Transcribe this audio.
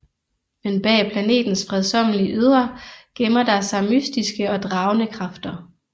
Men bag planetens fredsommelige ydre gemmer der sig mystiske og dragende kræfter